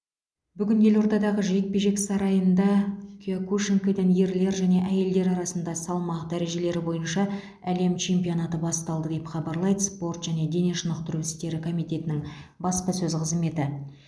бүгін елордадағы жекпе жек сарайында киокушинкайдан ерлер және әйелдер арасында салмақ дәрежелері бойынша әлем чемпионатыны басталды деп хабарлайды спорт және дене шынықтыру істері комитетінің баспасөз қызметі